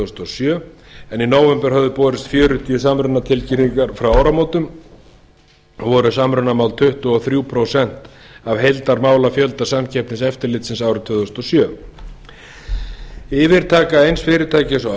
þúsund og sjö en í nóvember höfðu borist fjörutíu samrunatilkynningar frá áramótum og voru samrunamál tuttugu og þrjú prósent af heildarmálafjölda samkeppniseftirlitsins árið tvö þúsund og sjö yfirtaka eins fyrirtækis á